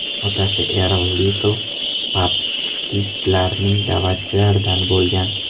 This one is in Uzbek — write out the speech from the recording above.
Otasi Erl Litl baptistlarning da’vatchilaridan bo‘lgan.